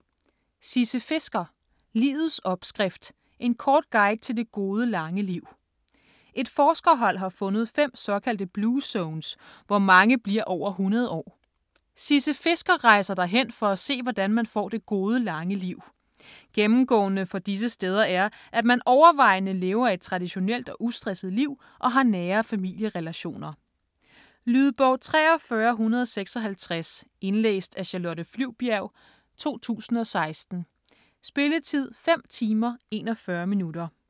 Fisker, Sisse: Livets opskrift: en kort guide til det gode lange liv Et forskerhold har fundet 5 såkaldte blue zones, hvor mange bliver over 100 år. Sisse Fisker rejser derhen for at se hvordan man får det gode lange liv. Gennemgående for disse steder er, at man overvejende lever et traditionelt og ustresset liv og har nære familierelationer. Lydbog 43156 Indlæst af Charlotte Flyvbjerg, 2016. Spilletid: 5 timer, 41 minutter.